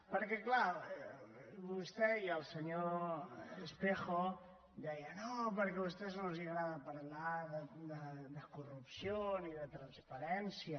perquè clar vostè i el senyor espejo deien no perquè a vostès no els agrada parlar de corrupció ni de transparència